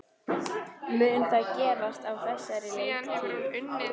Mun það gerast á þessari leiktíð?